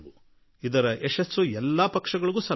ಇದರ ಶ್ರೇಯಸ್ಸು ಎಲ್ಲಾ ಪಕ್ಷಗಳಿಗೆ ಸಲ್ಲುತ್ತದೆ